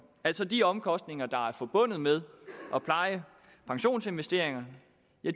altså de omkostninger der er forbundet med at pleje pensionsinvesteringer